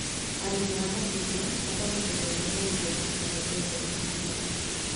Arĩmi a macungwa mathomithagio ũhoro wĩgiĩ tekinorojĩ cia matukũ maya